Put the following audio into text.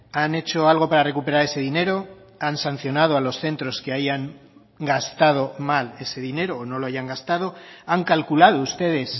han hecho algo para recuperar ese dinero han sancionado a los centros que hayan gastado mal ese dinero o no lo hayan gastado han calculado ustedes